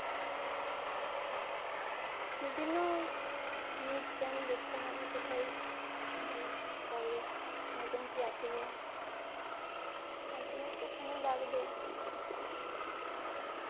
বিভিন্ন news channel দেখতে হবে কোথায় অ চাকরির vacancy আছে কিনা তার জন্য তো সময় লাগবেই.